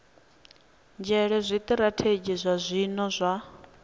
nzhele zwitirathedzhi zwa zwino zwa